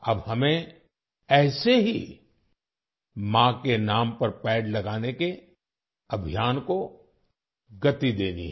अब हमें ऐसे ही माँ के नाम पर पेड़ लगाने के अभियान को गति देनी है